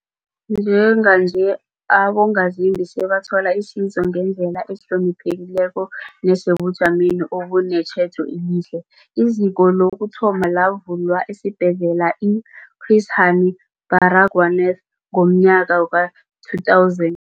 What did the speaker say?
Njenganje, abongazimbi sebathola isizo ngendlela ehloniphekileko nesebujameni obunetjhejo elihle. IZiko lokuthoma lavulwa esiBhedlela i-Chris Hani Baragwanath ngomnyaka we-2000.